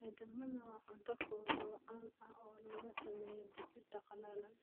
Edamame waa cunto fudud oo caan ah oo laga sameeyo digirta qallalan.